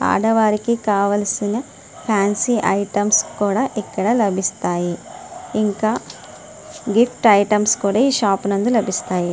ఆడవారికి కావలసిన fancy items కూడా ఇక్కడ లభిస్తాయి. ఇంకా గిఫ్ట్ ఐటమ్స్ కూడ ఈ షాప్ నందు లభిస్తాయి.